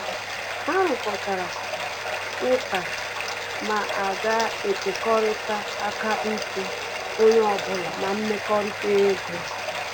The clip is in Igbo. Ha rukoritara ụka ma aga ekekọrita akaụntụ onye ọbụla na mmekọrịta ego